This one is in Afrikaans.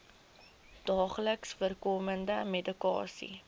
daagliks voorkomende medikasie